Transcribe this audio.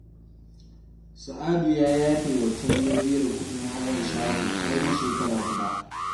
Sa'adu ya yafe wa Talle biyan kuɗin hayar shago har na shekara guda